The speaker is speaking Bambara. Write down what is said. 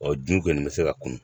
Ɔ juw kɔni be se ka kun